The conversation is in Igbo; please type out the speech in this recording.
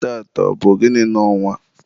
taata, ọ bụ gịnị n'ọnwa?